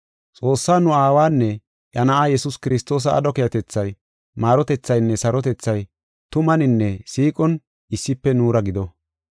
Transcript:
Xoossaa nu Aawanne iya Na7aa Yesuus Kiristoosa aadho keehatethay, maarotethaynne sarotethay tumanine siiqon issife nuura gido.